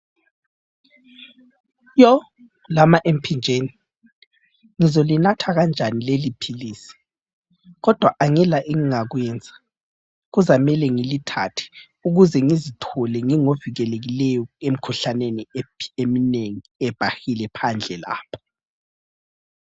Yo lama emphinjeni ngizalinatha kanjani leli philisi kodwa angila engingakwenza kuzamele ngilithathe ukuze ngizithole ngingo vikelekileyo emikhuhlaneni eminengi ebhahileyo phandle lapha.